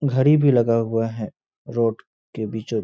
घरी भी लगा हुआ है रोड के बीचों --